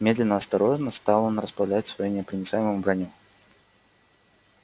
медленно осторожно стал он расправлять свою непроницаемую броню